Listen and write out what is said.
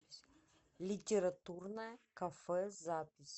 литературное кафе запись